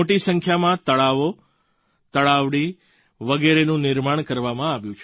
મોટી સંખ્યામાં તળાવો તળાવડી વગેરેનું નિર્માણ કરવામાં આવ્યું